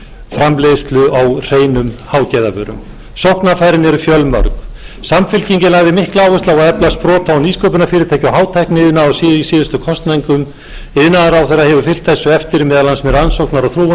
framleiðslu á hreinum hágæðavörum sóknarfærin eru fjölmörg samfylkingin lagði mikla áherslu áherslu á að efla sprota og nýsköpunarfyrirtæki og hátækniiðnað í síðustu kosningum iðnaðarráðherra hefur fylgt þessu eftir meðal annars með rannsóknar og þróunarstyrkjum en jafnframt þarf að leggja